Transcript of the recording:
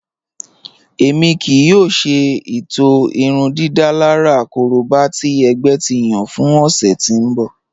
Ẹmi kìí yòò ṣè itọ̀ irúndídálàrà kòróbà tì ẹgbẹ̀ ti yàn fún òṣè tí n bọ̀.